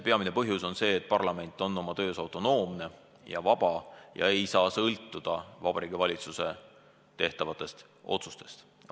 Peamine põhjus on see, et parlament on oma töös autonoomne ja vaba ega saa sõltuda Vabariigi Valitsuse tehtavatest otsustest.